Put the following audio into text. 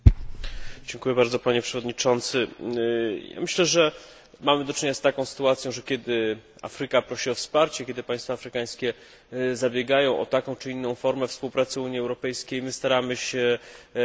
Myślę, że mamy do czynienia z taką sytuacją, że kiedy Afryka prosi o wsparcie, kiedy państwa afrykańskie zabiegają o taką czy inną formę współpracy z Unią Europejską, my staramy się te idee wspierać, staramy się Afryce pomagać.